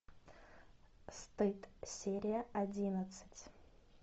стыд серия одиннадцать